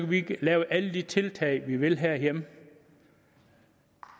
vi lave alle de tiltag vi vil herhjemme